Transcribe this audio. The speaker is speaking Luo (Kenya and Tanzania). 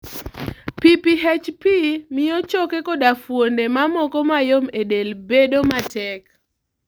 PPHP miyo choke koda fuonde mamoko mayom e del bedo matek.